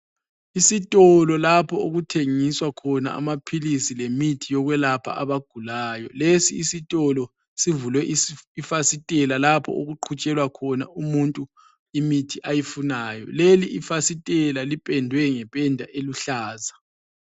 Isitolo lapho okuthengiswa khona amaphilisi le mithi yokwelapha abagulayo. Lesi isitulo sivulwe ifasitela lapho okuqhutshelwa khona umuntu imithi ayifunayo. Leyi ifasitela ipendwe ngependa eluhlaza.